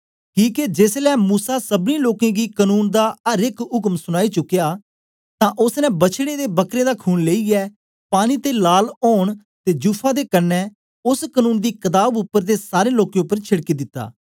किके जेसलै मूसा सबनी लोकें गी कनून दा अर एक उक्म सनाई चुकया तां ओसने बछड़ें ते बकरें दा खून लेईयै पानी ते लाल ओन ते जुफा दे कन्ने ओस कनून दी कताब उपर ते सारें लोकें उपर छेड़की दिता